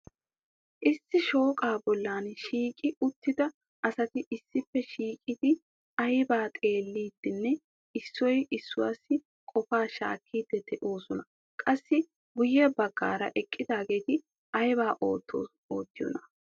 Issi shooqa bollan shiiqi uttida asati issippe shiiqidi aybba xeelidinne issoy issuwassi qopa shaakkidi de'oosona. Qassi guyye baggaara eqqidaageeti aybba oottiyoona.